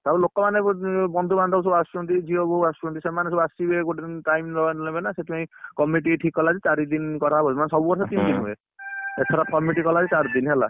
ଆଉ ଲୋକମାନେ ବନ୍ଧୁ ବାନ୍ଧବ ସବୁ ଆସୁଛନ୍ତି ଝିଅ ବୋହୁ ଆସୁଛନ୍ତି ସେମାନେ ସବୁ ଆସିବେ ଗୋଟେ ଦିନ time ନେବେନା ସେଇଥିପାଇଁକି କମିଟ ଠିକ କଲା ଯେ ଚାରୀଦିନ କରାହବ ଆଉ ମାନେ ସବୁବର୍ଷ ତିନ ଦିନ ହୁଏ ଏଇଥର କମିଟି କଲା ଯେ ଚାରୀଦିନ ହେଲା।